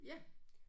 Ja